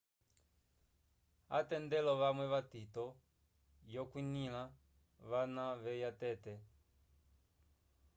atendelo vamwe vatito yo kwinila vana veya tete